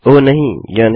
ओह नहीं यह नहीं